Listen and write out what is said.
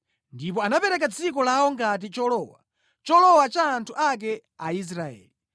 ndipo anapereka dziko lawo ngati cholowa, cholowa cha anthu ake Aisraeli.